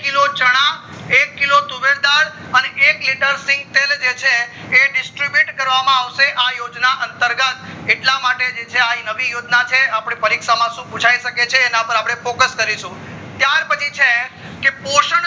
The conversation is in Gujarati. એક kilo તુવેર દલ અને એક liter સિંગતેલ તેલ જે છે એ distribute કરવામાં માં જે છે આવશે આ યોજના અતર્ગત એટલા માટે જે છે આ નવી યોજના ના છે પરિક્ષામ માં જે છે શું પુછાય શકે છે એના ઉપર અપડે focus કરી શકશું ત્યાર પછી જે છે પોષણ